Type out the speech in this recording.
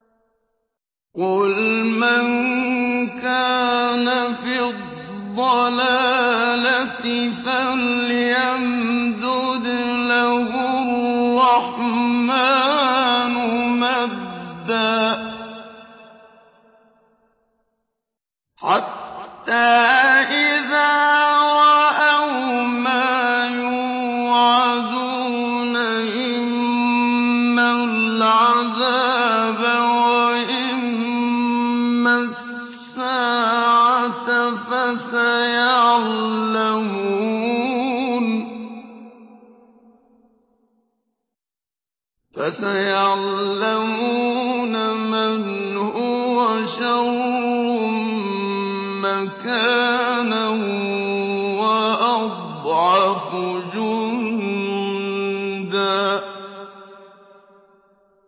قُلْ مَن كَانَ فِي الضَّلَالَةِ فَلْيَمْدُدْ لَهُ الرَّحْمَٰنُ مَدًّا ۚ حَتَّىٰ إِذَا رَأَوْا مَا يُوعَدُونَ إِمَّا الْعَذَابَ وَإِمَّا السَّاعَةَ فَسَيَعْلَمُونَ مَنْ هُوَ شَرٌّ مَّكَانًا وَأَضْعَفُ جُندًا